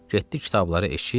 Getdi kitabları eşib.